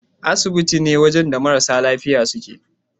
Asibiti ne wajan da marasa lafiya suke